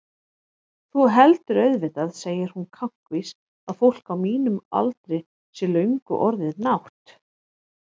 Þú heldur auðvitað, segir hún kankvís, að fólk á mínum aldri sé löngu orðið nátt-